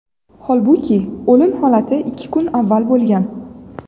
Holbuki, o‘lim holati ikki kun avval bo‘lgan.